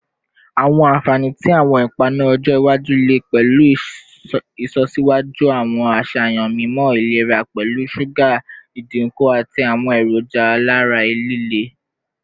Awọn anfani ti awọn ipanu ọjọ iwaju le pẹlu ilọsiwaju awọn aṣayan mimọ ilera pẹlu suga idinku ati awọn eroja alara lile